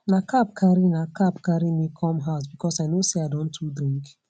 na cab carry na cab carry me come house because i know say i don too drink